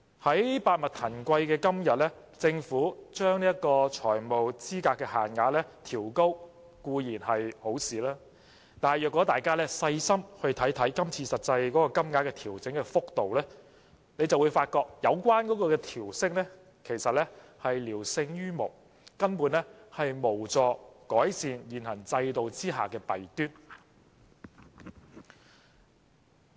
在百物騰貴的今天，政府將財務資格限額調高固然是好事，但大家若細心看看今次實際金額的調整幅度，便會發覺有關調升其實只是聊勝於無，根本無助改善現行制度的弊端。